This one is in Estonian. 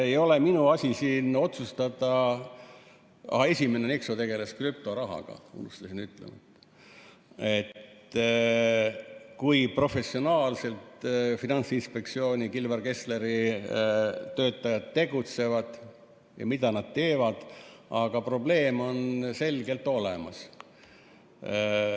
Ei ole minu asi siin otsustada – esimene, Nexo, tegeles krüptorahaga, unustasin ütelda –, kui professionaalselt Finantsinspektsiooni Kilvar Kessleri töötajad tegutsevad ja mida nad teevad, aga probleem on selgelt olemas.